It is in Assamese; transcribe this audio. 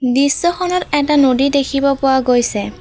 দৃশ্যখনত এটা নদী দেখিব পৰা গৈছে।